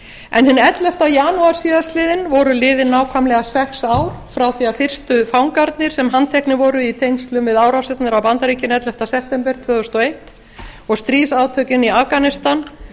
en hinn ellefta janúar síðastliðinn voru liðin nákvæmlega sex ár frá því að fyrstu fangarnir sem handteknir voru í tengslum við árásirnar á bandaríkin ellefta september tvö þúsund og eins og stríðsátökin í afganistan